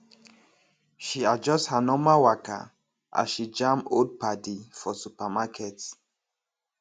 she adjust her normal waka as she jam old padi for supermarket